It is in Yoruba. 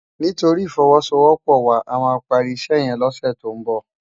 Nitóri ifòwòsówòpò wá àmá pàri isè yèn lòsè tó n bò